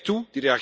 Die kijkt toe.